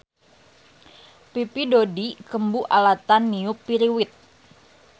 Pipi Dodi kembu alatan niup piriwit